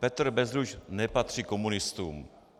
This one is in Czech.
Petr Bezruč nepatří komunistům.